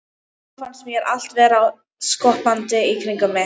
Og þá fannst mér allt vera skoppandi í kringum mig.